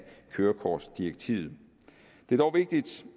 kørekortdirektivet det er dog vigtigt